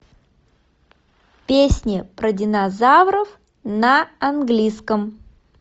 песни про динозавров на английском